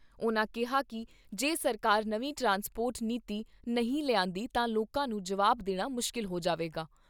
ਉਨ੍ਹਾਂ ਕਿਹਾ ਕਿ ਜੇ ਸਰਕਾਰ ਨਵੀਂ ਟਰਾਂਸਪੋਰਟ ਨੀਤੀ ਨਹੀਂ ਲਿਆਂਦੀ ਤਾਂ ਲੋਕਾਂ ਨੂੰ ਜਵਾਬ ਦੇਣਾ ਮੁਸ਼ਕਲ ਹੋ ਜਾਵੇਗਾ।